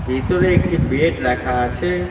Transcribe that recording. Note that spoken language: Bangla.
ভিতরে একটি বেড রাখা আছে।